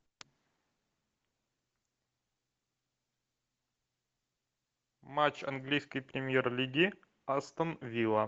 матч английской премьер лиги астон вилла